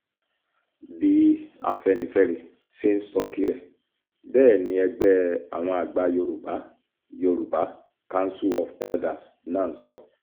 bí afẹ́nifẹ́re ṣe ń sọ tirẹ̀ bẹ́ẹ̀ ni ẹgbẹ́ àwọn àgbà yorùbá yorùbá council of elders náà sọ